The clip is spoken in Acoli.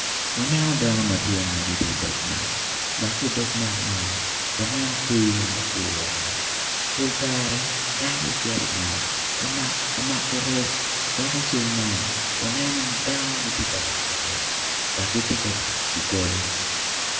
Waneno dano madwong ma gitye idog nam dok ki idog nam man waneno kweyo ma ogure pol kare dano gicito inam ka mako rec dok ical man waneno ni dano gitye ka mako rec dok gitye ka tic ki goli.